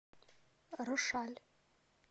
рошаль